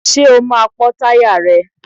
Ṣé o máa pọ́ táyà rẹ̀?